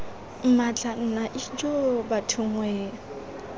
mmatla nna ijoo bathong wee